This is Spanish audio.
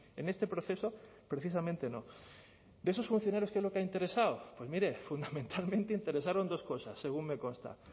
en este proceso precisamente no de esos funcionarios qué lo que ha interesado pues mire fundamentalmente interesaron dos cosas según me consta